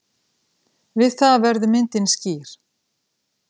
Við það verður myndin skýr.